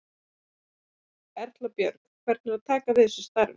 Erla Björg: Hvernig er að taka við þessu starfi?